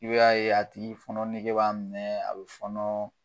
I b'a ye a tigi fɔnɔ nege b'a minɛ a bɛ fɔnɔ.